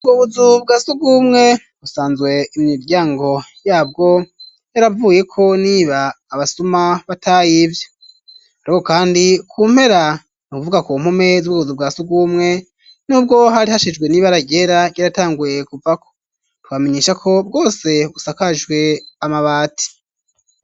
Wubuzu bwa sugumwe busanzwe imiryango yabwo yaravuyeko niba abasuma batahi ivyo, ariko, kandi ku mpera ni ukuvuga ku mpume z'ubuzu bwa sugumwe n'ubwo harihashijwe niba aragera yaratanguye kuvako tubamenyesha ko bwose busakashwe amabati.